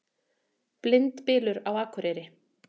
Blindbylur á Akureyri